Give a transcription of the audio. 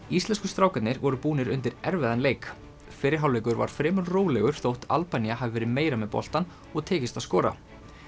íslensku strákarnir voru búnir undir erfiðan leik fyrri hálfleikur var fremur rólegur þótt Albanía hafi verið meira með boltann og tekist að skora